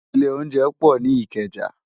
Ilé óunjẹ pò ni Ikeja